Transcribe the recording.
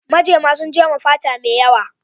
Majema sun jema fata mai yawa.